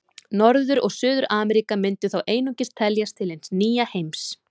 Norður- og Suður-Ameríka myndu þá einungis teljast til hins nýja heims.